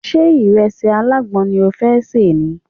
Ṣé ìrẹsì alágbọn ni o fẹ́ ni?